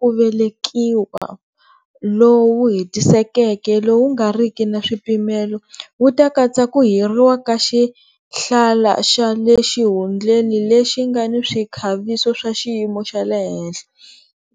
ku velekiwa lowu hetisekeke lowu nga ri ki na swipimelo wu ta katsa ku hiriwa ka xihlala xa le xihundleni lexi nga ni swikhaviso swa xiyimo xa le henhla,